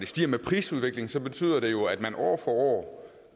stiger med prisudviklingen betyder det jo at man år for år